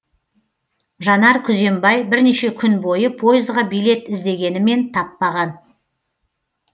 жанар күзембай бірнеше күн бойы пойызға билет іздегенімен таппаған